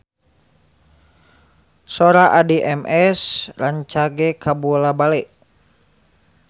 Sora Addie MS rancage kabula-bale